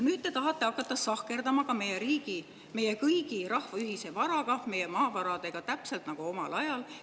Nüüd te tahate hakata sahkerdama meie riigi, meie kõigi, meie rahva ühise varaga, meie maavaradega, täpselt nagu omal ajal.